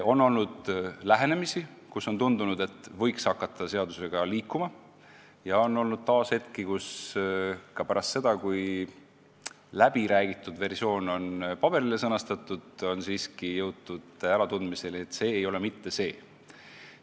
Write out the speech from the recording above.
On olnud lähenemisi, kus on tundunud, et võiks hakata seaduseelnõuga edasi liikuma, ja on olnud hetki, kus pärast seda, kui läbiräägitud versioon on paberile pandud, on siiski jõutud äratundmiseni, et see ei ole mitte see.